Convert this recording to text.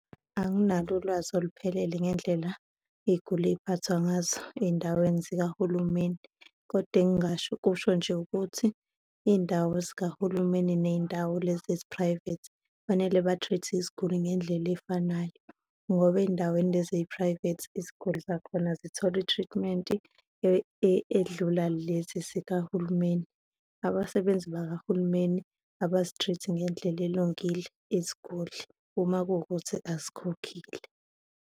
Anginalo ulwazi oluphelele ngendlela iy'guli ey'iphathwa ngazo ey'ndaweni zikahulumeni kodwa engingasho ukusho nje ukuthi iy'ndawo zikahulumeni ney'ndawo lezi ezi-private, kufanele ba-treat-e iziguli ngendlela ey'fanayo. Ngoba ey'ndaweni lezi ey'-private, iziguli zakhona zithola i-treatment-i edlula lezi zikahulumeni. Abasebenzi bakahulumeni abazi-treat-i ngendlela elungile iziguli uma kuwukuthi azikhokhile.